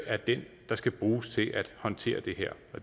er den der skal bruges til at håndtere det her